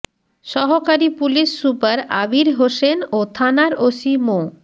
সহকারী police super Abir Hossain ও থানার ওসি মো